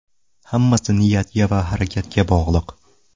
Hammasi niyatga va harakatga bog‘liq”.